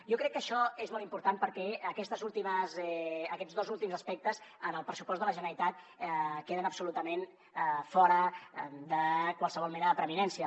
jo crec que això és molt important perquè aquests dos últims aspectes en el pressupost de la generalitat queden absolutament fora de qualsevol mena de preeminència